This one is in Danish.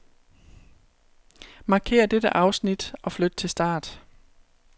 Markér dette afsnit og flyt til start.